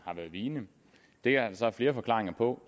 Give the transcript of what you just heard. har været vigende det er så flere forklaringer på